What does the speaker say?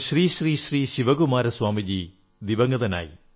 Shri Shri Shri Shivakumara Swamiji ദിവംഗതനായി